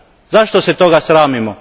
Zašto se toga sramimo?